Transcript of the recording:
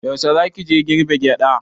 Yaushe za ki je girbe gyaɗa?